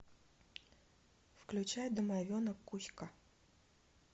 включай домовенок кузька